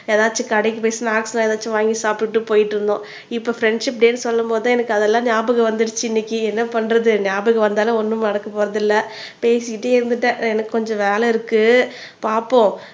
ஏதாச்சும் கடைக்கு போயி ஸ்னாக்ஸ்லாம் ஏதாவது சாப்பிட்டு போயிட்டு இருந்தோம் இப்ப ஃப்ரண்ட்ஷிப் டேன்னு என்று சொல்லும்போது தான் எனக்கு அதெல்லாம் ஞாபகம் வந்திருச்சு இன்னைக்கு என்ன பண்றது ஞாபகம் வந்தாலும் ஒண்ணும் நடக்க போறது இல்ல பேசிகிட்டே இருந்துட்டேன் எனக்கு கொஞ்சம் வேலை இருக்கு பார்ப்போம்